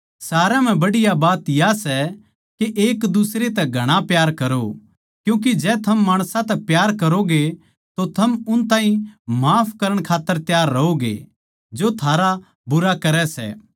सारया म्ह बढ़िया बात या सै के एकदुसरे तै घणा प्यार करो क्यूँके जै थम माणसां तै प्यार करोगे तो थम उन ताहीं माफ करण खात्तर तैयार रहोगे जो थारा बुरा करै सै